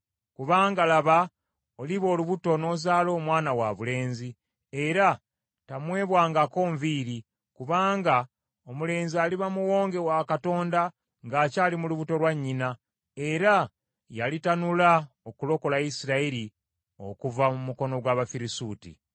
Kubanga, laba, oliba olubuto n’ozaala omwana wabulenzi, era tamwebwangako nviiri, kubanga omulenzi aliba Muwonge wa Katonda ng’akyali mu lubuto lwa nnyina, era yalitanula okulokola Isirayiri okuva mu mukono gw’Abafirisuuti.”